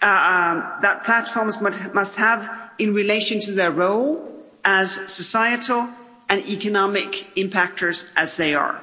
that platforms must have in relation to their role as societal and economic impactors, as they are.